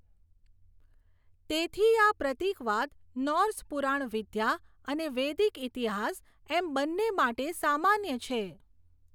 તેથી આ પ્રતિકવાદ નૉર્સ પુરાણવિદ્યા અને વેદિક ઇતિહાસ, એમ બંને માટે સામાન્ય છે.